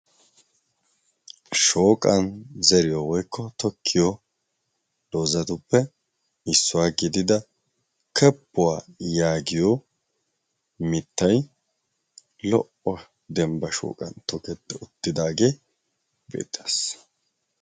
Shooqqan zeriyo woykko tokkiya doozatuppe issuwaa gidida keppuwaa yaagiyo mittay lo''o dembba shooqan tokketi uttidaage beettees.